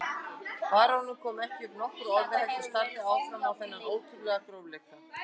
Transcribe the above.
Baróninn kom ekki upp nokkru orði heldur starði áfram á þennan ótrúlega grófleika.